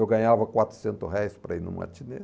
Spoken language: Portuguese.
Eu ganhava quatrocentos reais para ir no matinê.